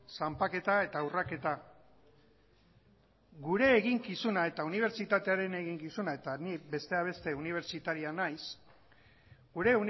zanpaketa eta urraketa gure eginkizuna eta unibertsitatearen eginkizuna eta nik besteak beste unibertsitaria naiz gure